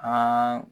An